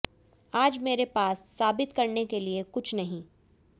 आज मेरे पास साबित करने के लिए कुछ नहीं